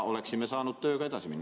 Oleksime saanud tööga edasi minna.